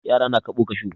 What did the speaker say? Yara na kaɓo kashu.